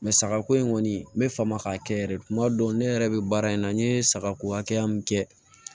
sagako in kɔni n bɛ faama k'a kɛ yɛrɛ de kuma dɔw ne yɛrɛ bɛ baara in na n ye sagako hakɛya min kɛ